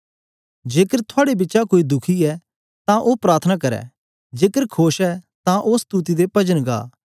जेकर थुआड़े बिचा कोई दुखी ऐ तां ओ प्रार्थना करै जेकर खोश ऐ तां ओ स्तुति ते पजन गा